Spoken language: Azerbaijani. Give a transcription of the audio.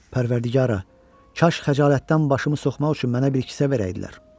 Pərvərdigara, kaş xəcalətdən başımı soxmaq üçün mənə bir kisə verəydilər.